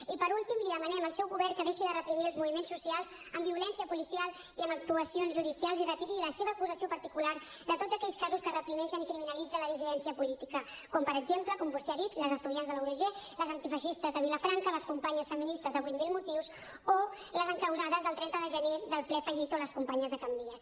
i per últim li demanem al seu govern que deixi de reprimir els moviments socials amb violència policial i amb actuacions judicials i retiri la seva acusació particular de tots aquells casos que reprimeixen i criminalitzen la dissidència política com per exemple com vostè ha dit les estudiants de la udg les antifeixistes de vilafranca les companyes feministes de vuit mil motius les encausades del trenta de gener del ple fallit o les companyes de can vies